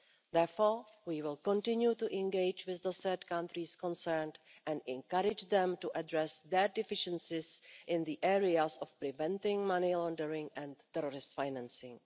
Therefore, we will continue to engage with the third countries concerned and encourage them to address their deficiencies in the areas of preventing money laundering and terrorist financing.